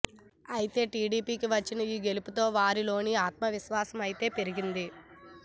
అయితే టీడీపీకి వచ్చిన ఈ గెలుపుతో వారిలో ఆత్మవిశ్వాసం అయితే పెరిగింది